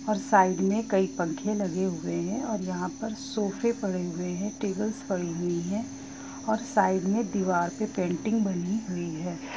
और साइड में कई पंख लगे हुए है और यहाँ पर सोफे पड़े हुए है टेबल्स पड़ी हुई है और साइड में दीवार पर पेंटिंग बनी हुई है।